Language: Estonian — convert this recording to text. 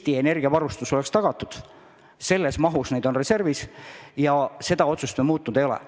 Neid on reservis sellises mahus, et Eesti energiavarustus oleks tagatud, ja seda otsust me muutnud ei ole.